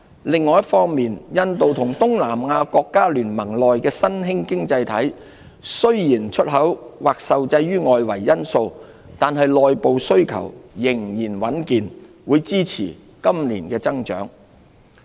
另一方面，印度和東南亞國家聯盟內的新興經濟體，雖然出口或受制於外圍因素，但內部需求仍然穩健，會支持今年的增長。